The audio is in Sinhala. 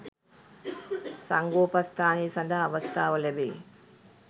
සංඝෝපස්ථානය සඳහා අවස්ථාව ලැබෙයි.